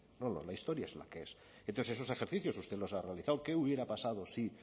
la historia es la que es entonces esos ejercicios usted los ha realizado qué hubiera pasado si